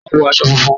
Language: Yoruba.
Wọ́n wọ̀ àṣọ fúnfún.